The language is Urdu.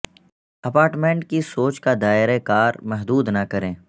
اپارٹمنٹ کی سوچ کا دائرہ کار محدود نہ کریں